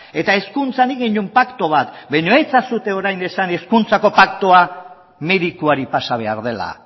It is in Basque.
eta hezkuntzan egin genuen paktu bat baina ez ezazue esan orain hezkuntzako paktua merituari pasa behar dela